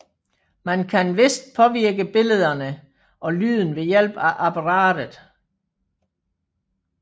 Man kan ganske vist påvirke billederne og lydene ved hjælp af apparatet